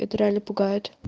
это реально пугает